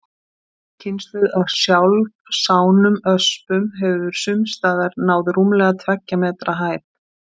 Ný kynslóð af sjálfsánum öspum hefur sums staðar náð rúmlega tveggja metra hæð.